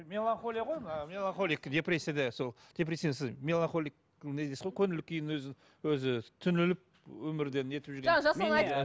мелонхолия ғой мына мелонхолик депрессияда сол меланхолик өзі түңіліп өмірден нетіп